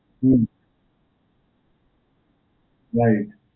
હમ્મ. right.